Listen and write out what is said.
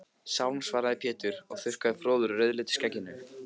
Sálm, svaraði Pétur og þurrkaði froðu úr rauðleitu skegginu.